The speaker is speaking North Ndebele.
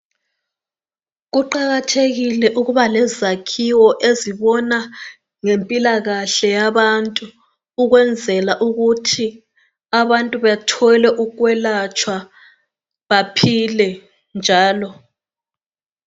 Kuqakathekile ukuba lezakhiwo ezibona ngempilakahle yabantu ukwenzela ukuthi abantu bethole ukwelatshwa baphile njalo.